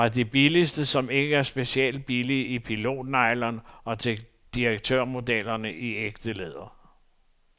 Fra de billigste, som ikke er specielt billige, i pilotnylon og til direktørmodellerne i ægte læder.